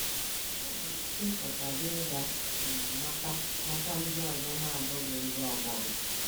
Nke a nwere ike ịpụta gị ịga um mata mata ndị ọzọ na - abụghị ndị ọgbọ gị.